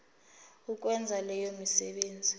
ukwenza leyo misebenzi